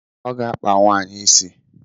Ọ ga-akpa nwaanyị isi.